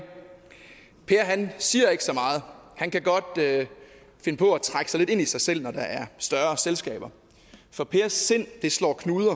siger ikke så meget og han kan godt finde på at trække sig lidt ind i sig selv når der er større selskaber for pers sind slår knuder